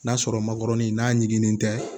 N'a sɔrɔ makɔrɔni n'a ɲiginnen tɛ